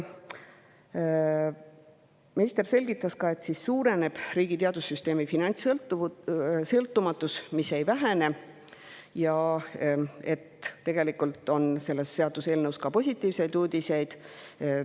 Minister selgitas ka, et riigi teadussüsteemi finantssõltumatus suureneb, mitte ei vähene, ja et tegelikult on selles seaduseelnõus ka positiivseid uudiseid.